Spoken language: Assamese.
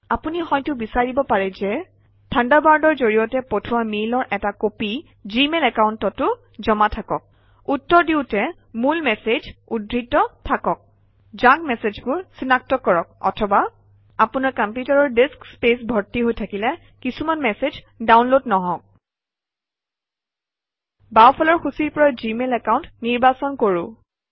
আপুনি হয়তো বিচাৰিব পাৰে যে থাণ্ডাৰবাৰ্ডৰ জৰিয়তে পঠোৱা মেইলৰ এটা কপি জিমেইল একাউণ্টতো জমা থাকক উত্তৰ দিওঁতে মূল মেচেজ উদ্ধৃত থাকক জাংক মেচেজবোৰ চিনাক্ত কৰক অথবা আপোনাৰ কম্পিউটাৰৰ ডিস্ক স্পেচ ভৰ্তি হৈ থাকিলে কিছুমান মেচেজ ডাউনলোড নহওক বাওঁফালৰ সূচীৰ পৰা জিমেইল একাউণ্ট নিৰ্বাচন কৰোঁ আহক